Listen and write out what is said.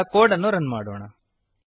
ಈಗ ಕೋಡ್ ಅನ್ನು ರನ್ ಮಾಡೋಣ